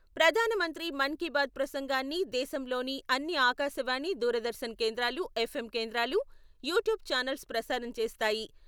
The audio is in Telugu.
ప్రధానమంత్రి మన్ కీ బాత్ ప్రసంగాన్ని దేశంలోని అన్ని ఆకాశవాణి, దూరదర్శన్ కేంద్రాలు, ఎఫ్ఎం కేంద్రాలు, యూట్యూబ్ ఛానల్స్ ప్రసారం చేస్తాయి.